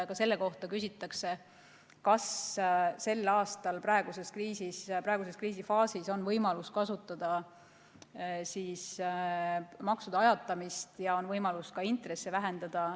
Ka selle kohta küsitakse, et kas sel aastal praeguses kriisifaasis on võimalik makse ajatada ja ka intresse vähendada.